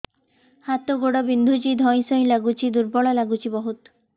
ହାତ ଗୋଡ ବିନ୍ଧୁଛି ଧଇଁସଇଁ ଲାଗୁଚି ଦୁର୍ବଳ ଲାଗୁଚି ବହୁତ